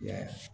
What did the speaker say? Ya